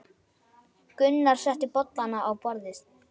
Gunnar setti bollana á borðið.